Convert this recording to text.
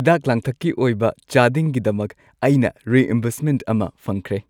ꯍꯤꯗꯥꯛ-ꯂꯥꯡꯊꯛꯀꯤ ꯑꯣꯏꯕ ꯆꯥꯗꯤꯡꯒꯤꯗꯃꯛ ꯑꯩꯅ ꯔꯤꯢꯝꯕꯔꯁꯃꯦꯟꯠ ꯑꯃ ꯐꯪꯈꯔꯦ ꯫